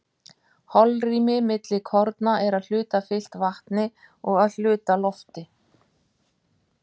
holrými milli korna er að hluta fyllt vatni og að hluta lofti